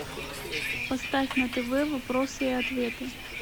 поставь на тв вопросы и ответы